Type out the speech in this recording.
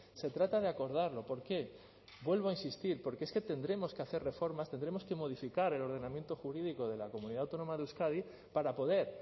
se trata de acordarlo por qué vuelvo a insistir porque es que tendremos que hacer reformas tendremos que modificar el ordenamiento jurídico de la comunidad autónoma de euskadi para poder